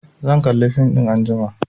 Zan kalla fim ɗin anjima